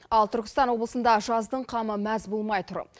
ал түркістан облысында жаздың қамы мәз болмай тұр